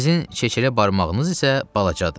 Sizin çeçələ barmağınız isə balacadır.